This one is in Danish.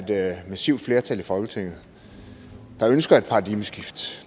der er et massivt flertal i folketinget der ønsker et paradigmeskift